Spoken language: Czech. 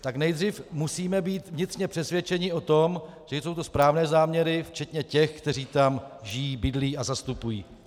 Tak nejdřív musíme být vnitřně přesvědčeni o tom, že jsou to správné záměry, včetně těch, kteří tam žijí, bydlí a zastupují.